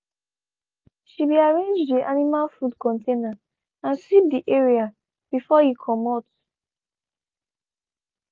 she be arranged de animal food container and sweep de area before e comot.